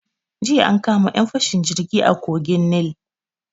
Jiya an kama 'yan fashin jirgi a kogin Nil.